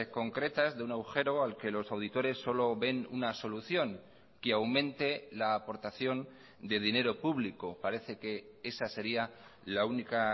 concretas de un agujero al que los auditores solo ven una solución que aumente la aportación de dinero público parece que esa sería la única